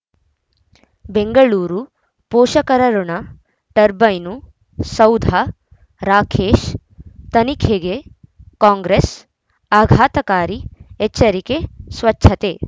ಬೆಂಗಳೂರು ಪೋಷಕರಋಣ ಟರ್ಬೈನು ಸೌಧ ರಾಕೇಶ್ ತನಿಖೆಗೆ ಕಾಂಗ್ರೆಸ್ ಆಘಾತಕಾರಿ ಎಚ್ಚರಿಕೆ ಸ್ವಚ್ಛತೆ